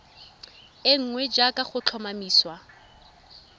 e nngwe jaaka go tlhomamisiwa